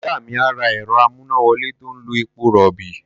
Ìyá mi á ra ẹ̀rọ-amúnáwọlé tó ń lo epo-rọ̀bì.